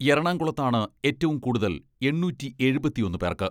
എറണാകുളത്താണ് ഏറ്റവും കൂടുതൽ, എണ്ണൂറ്റി എഴുപത്തിയൊന്ന് പേർക്ക്.